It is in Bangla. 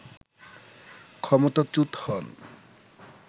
ক্ষমতাচ্যূত হন